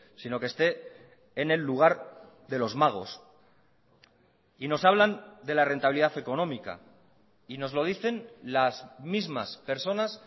sino que esté en el lugar de los magos y nos hablan de la rentabilidad económica y nos lo dicen las mismas personas